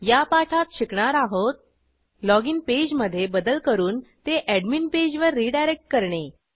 या पाठात शिकणार आहोत लॉगिन पेज मधे बदल करून ते अॅडमिन पेजवर रिडायरेक्ट करणे